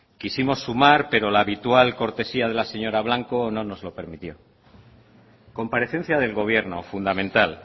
quisimos sumar pero la habitual cortesía de la señora blanco no nos lo permitió comparecencia del gobierno fundamental